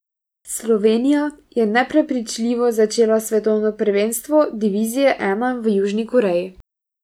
Slovenija je neprepričljivo začela svetovno prvenstvo divizije I v Južni Koreji.